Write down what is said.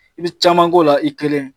I bi caman k'o la i kelen.